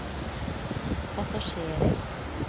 passasjerer